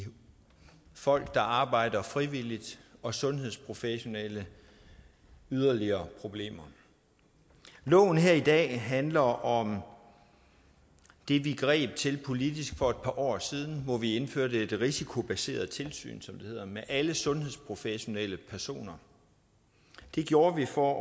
folk der arbejder frivilligt og sundhedsprofessionelle yderligere problemer loven her i dag handler om det vi greb til politisk for et par år siden hvor vi indførte et risikobaseret tilsyn som det hedder med alle sundhedsprofessionelle personer det gjorde vi for